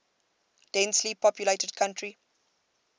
densely populated country